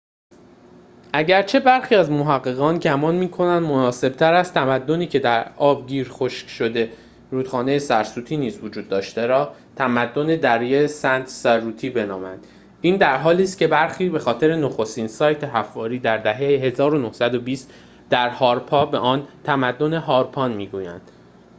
اگرچه برخی از محققان گمان می‌کنند مناسب‌تر است تمدنی که در آبگیر خشک شده رودخانه سرسوتی نیز وجود داشته را تمدن دره سند-سرسوتی بنامیم این درحالیست‌که برخی به خاطر نخستین سایت حفاری در دهه ۱۹۲۰ در هاراپا به آن تمدن هارپان می‌گویند